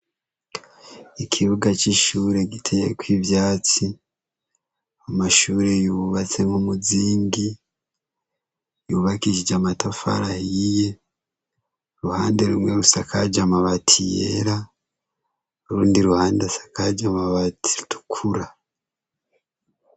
Ikibuga c'ishure giteyeko ivyatsi amashure yubatse nk'umuzingi ryubakishije amatafari ahiye, uruhande rumwe rusakaje amabati yera urundi ruhande rusakaje amabati atukura.